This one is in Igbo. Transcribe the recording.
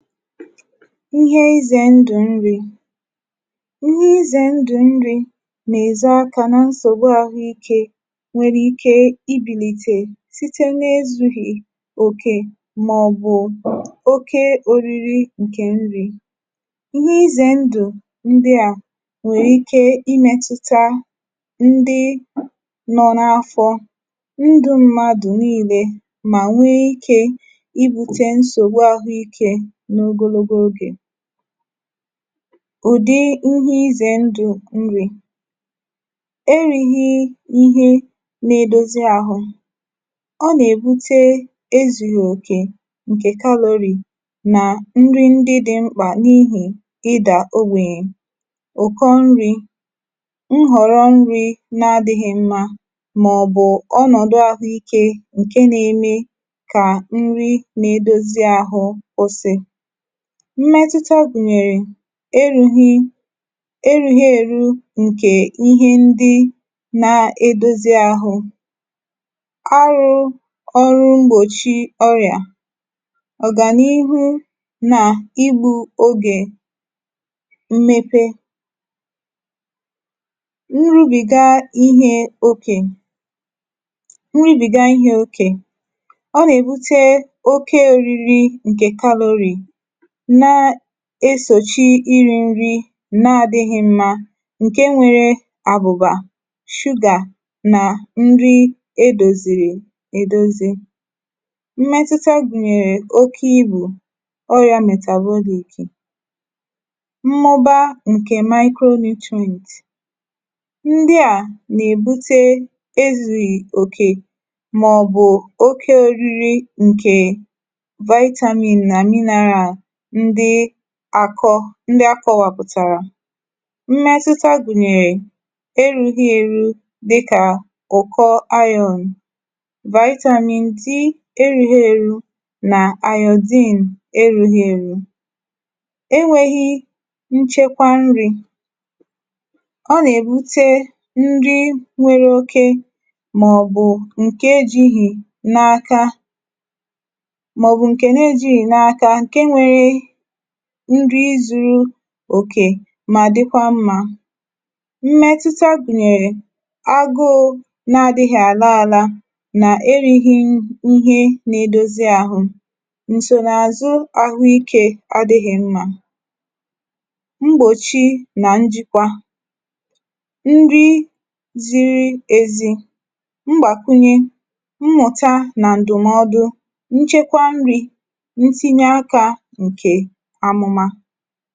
ịhẹ ịzẹ̄ ndụ̀ nrī. ịhẹ ịzẹ̄ ndụ̀ nrī nà èzo aka na nsògbu ahụ ikē nwẹrẹ ike I bìlìtè, site na ezughì òkè mà ọ̀ bụ̀ oke oriri ǹkẹ̀ nrī. ịhẹ ịzẹ̄ ndụ̀ ndịà nwè ike ị mẹtụta ndị nọ n’afọ, ndụ mmadù nille, mà nwe ikē I bute nsògbu ahụ ikē n’ogologo ogè. ụ̀dị ịhẹ ịzẹ̄ ndụ̀ nrī. e righi nri na edozi ahụ, ọ nà èbute ezùghì òkè ǹkè calorie, nà nrị ndị dị mkpà n’ihì ịdà ogbènyè. ụ̀kọ nrī, nhọ̀rọ nrī na adịghị mma, mà ọ̀ bụ̀ ọnọ̀dụ ahụ ikē, ǹke na eme kà nrị na edozi ahụ kwụsị. mmẹtụta gùnyèrè erughi, erughi èru ǹkè ihe ndị na edozi àhụ. arụ̄ ọrụ mgbòchi ọrị̀à, ọ̀gànihu nà igbū ogè mmepe. nrùbìga ihẹ okè, nrùbìga ihẹ okè, ọ nà èbute oke oriri, ǹkè calorie, na esòchi irī nri na adịghị mmā, ǹke nwere àbụ̀bà, sugar, nà nri e dòzìrì è dozi. mmẹtụta gùnyèrè oke ibù orịā metabolic, mmụba ǹkè micronutrients. ndị à nà èbute ezùghì òkè, mà ọ̀ bụ̀ oke oriri ǹkè vitamin nà mineral ndị àkọ, ndị akọ̄wàpụ̀tàrà, mmẹtụta gùnyèrè erūghi eru, dịkà gọ̀kọ iron, vitamin D erughi eru nà iodine erughi eru. e nweghi nchekwa nrī, ọ nà èbute nri nwẹrẹ oke, mà ọ̀ bụ̀ ǹke ejīghì n’aka, mà ọ̀ bụ̀ ǹke na ejīghì n’aka, ǹke nwere nri zu òkè mà dịkwa mmā. mmẹtụta gụ̀nyẹ̀rẹ̀ agụụ̄ na adịghị àla ala, nà erīghi ihe na edozi ahụ, ǹsònàzụ ahụ ikē adịghị̄ mmā, mgbòchi nà njìkwa, nri ziri ezi, mgbàkwụnyẹ, mmụ̀ta nà ǹdụ̀mọdụ, nchekwa nrī, ntinye akā ǹkè anụma.